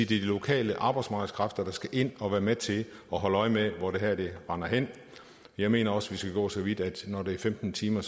de lokale arbejdsmarkedskræfter der skal ind og være med til at holde øje med hvor det render hen jeg mener også at vi skal gå så vidt at når det er femten timer